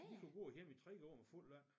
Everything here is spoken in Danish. De kunne gå hjemme i 3 år med fuld løn